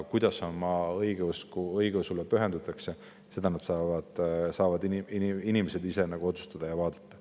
Kuidas oma õigeusule pühendutakse, seda saavad inimesed ise otsustada ja vaadata.